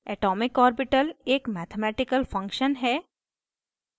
atomic orbital atomic orbital एक mathematical function है